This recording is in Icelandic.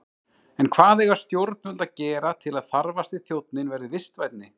En hvað eiga stjórnvöld að gera til að þarfasti þjónninn verði vistvænni?